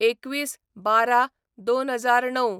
२१/११/२००९